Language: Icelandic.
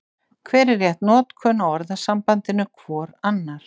Hver er rétt notkun á orðasambandinu hvor annar?